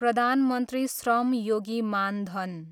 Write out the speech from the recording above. Pradhan Mantri Shram Yogi Maan Dhan